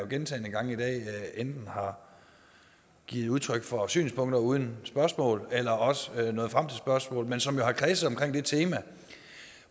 gentagne gange i dag enten har givet udtryk for synspunkter uden spørgsmål eller også er nået frem til spørgsmål men som jo har kredset omkring det tema